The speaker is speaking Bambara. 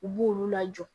U b'olu lajɔ